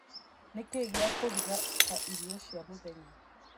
nikĩĩ gĩa kũruga ta irio cia mũthenya